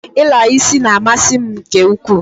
I la isi na-amasi m nke ukwuu.